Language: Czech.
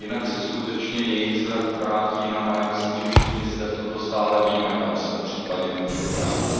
Jinak se skutečně jejich zrak obrátí jinam a myslím, že všichni v tomto sále víme, kam se případně může obrátit.